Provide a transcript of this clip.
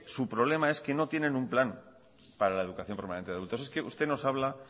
su problema es que no tienen un plan para la educación permanente de adultos es que usted nos habla